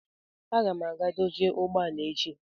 Aga m aga dozie ụgbọ ala echi